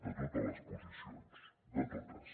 de totes les posicions de totes